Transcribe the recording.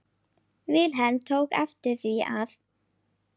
Vilhelm tók eftir því að